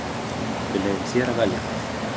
Við leyfum þér að velja það.